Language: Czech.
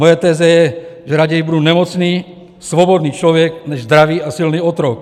Moje teze je, že raději budu nemocný svobodný člověk než zdravý a silný otrok.